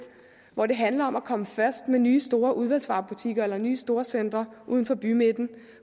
hvor det handler om at komme først med nye store udvalgsvarebutikker eller nye storcentre uden for bymidterne